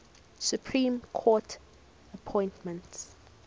supreme court appointments